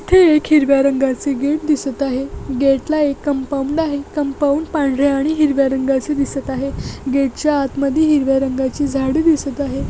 इथे एक हिरव्या रंगाचे गेट दिसत आहे. गेट ला एक कंपाऊंड आहे. कंपाऊंड पांढर्‍या आणि हिरव्या रंगाचे दिसत आहे. गेट च्या आतमध्ये हिरव्या रंगाचे झाडे दिसत आहेत.